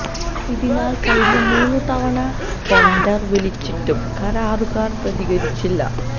ഇതിനാല് കഴിഞ്ഞ മൂന്ന് തവണ ടെന്ഡര് വിളിച്ചിട്ടും കരാറുകാര് പ്രതികരിച്ചില്ല